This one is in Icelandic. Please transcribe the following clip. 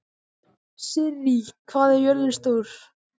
Sirrí, hvað er jörðin stór?